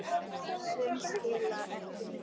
Sum skila ekki neinu.